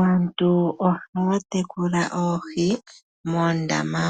Aantu ohaya tekula Oohi moondama,